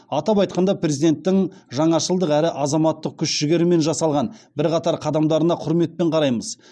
атап айтқанда президенттің жаңашылдық әрі азаматтық күш жігермен жасалған бірқатар қадамдарына құрметпен қараймыз